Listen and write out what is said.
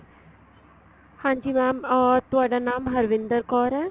ਹਾਂਜੀ mam ਤੁਹਾਡਾ ਨਾਮ ਹਰਵਿੰਦਰ ਕੌਰ ਏ